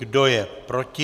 Kdo je proti?